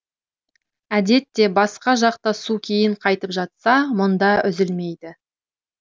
әдетте басқа жақта су кейін қайтып жатса мұнда үзілмейді